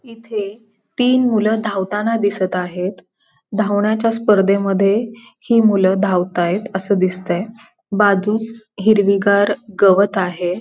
इथे तीन मुल धावताना दिसत आहेत धावण्याच्या स्पर्धेमध्ये ही मुल धावतायत अस दिसतय बाजूस हिरवीगार गवत आहे.